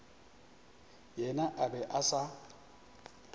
yena a be a sa